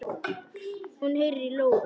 Hún heyrir í lóu.